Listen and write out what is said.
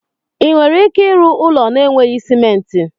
Ị nwere ike ịrụ ụlọ n'eweghị simenti?